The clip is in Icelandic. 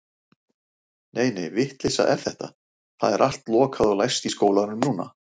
Nei, nei, vitleysa er þetta, það er allt lokað og læst í skólanum núna.